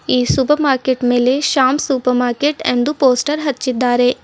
ಈ super market ಮೇಲೆ Shyam super market ಎಂದು ಪೋಸ್ಟರ್ ಹಚ್ಚಿದ್ದಾರೆ.